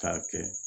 K'a kɛ